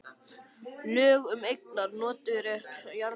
Lög um eignar- og notkunarrétt jarðhita.